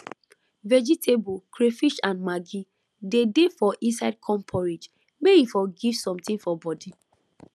vegetable crayfish and maggi dey dey for inside corn porridge may e for give something for body